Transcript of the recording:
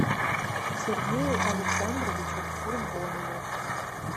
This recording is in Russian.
сергею александровичу курбонову